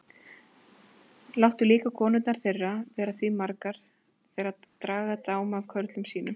Láttu líka konurnar þeirra vera því margar þeirra draga dám af körlum sínum.